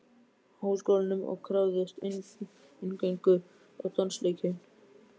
Háskólanum og krafðist inngöngu á dansleikinn.